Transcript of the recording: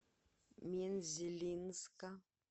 мензелинска